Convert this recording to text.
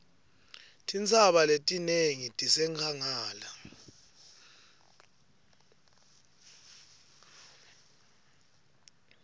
tintsaba letinengi tisenkhangala